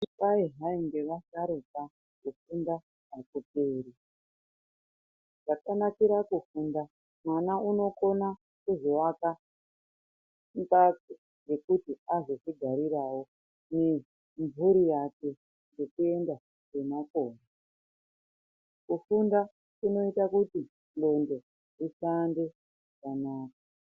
Kwai hai nge vasharuka kufunda akuperi zvaka nakira kufunda mwana unokona kuzo waka mbatso dzekuti azozvi garirawo nge mburi yake nekuenda kwe makore kufunda kunoita kuti ndombe dzifambe zvakanaka.